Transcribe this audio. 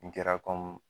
N kɛra